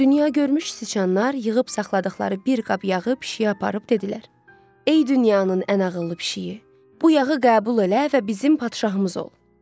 Dünya görmüş siçanlar yığıb saxladıqları bir qab yağı pişiyə aparıb dedilər: Ey dünyanın ən ağıllı pişiyi, bu yağı qəbul elə və bizim padşahımız ol.